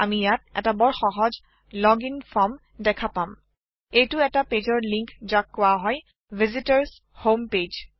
আমি ইয়াত এটা বৰ সহজ লোগিং ফৰম দেখা পাম এইটো এটা পেজৰ লিংক যাক কোৱা হয় ভিচিটৰ্ছ হোম পেজ